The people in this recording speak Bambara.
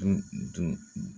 N dun